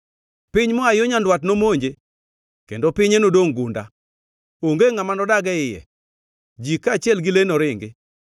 Piny moa yo nyandwat nomonje kendo pinye nodongʼ gunda. Onge ngʼama nodag e iye; ji kaachiel gi le noringi.”